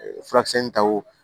Furakisɛ in ta o